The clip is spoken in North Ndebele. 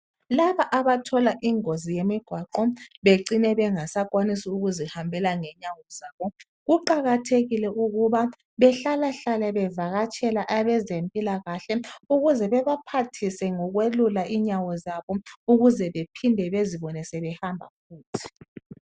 Laba abathola ingozi yemigwaqo bacine bengasenelisi ukuzihambela ngenyawo zabo kuqakathekile ukuba bahlalahlale bevakatshele abezempilakahle ukuze bebaphathise ngokwelula inyawo zabo bephinde bezibone sebehamba futhi.